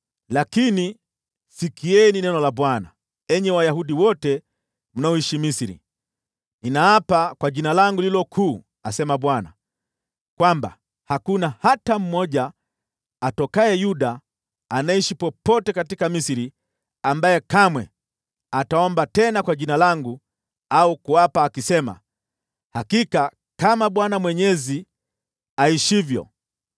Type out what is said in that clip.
Lakini sikieni neno la Bwana , enyi Wayahudi wote mnaoishi Misri: ‘Ninaapa kwa Jina langu lililo kuu,’ asema Bwana , ‘kwamba hakuna hata mmoja atokaye Yuda anayeishi popote Misri ambaye kamwe ataomba tena kwa Jina langu au kuapa, akisema, “Hakika kama Bwana Mwenyezi aishivyo.”